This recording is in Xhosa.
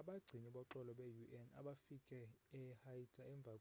abagcini boxolo be-un abafike e-haiti emva